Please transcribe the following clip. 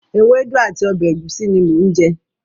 Ewédú àti ọbẹ̀ ẹ̀gúsí ni mò ń jẹ.